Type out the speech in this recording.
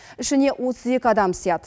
ішіне отыз екі адам сыйады